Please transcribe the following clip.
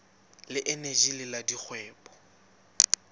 le eneji le la dikgwebo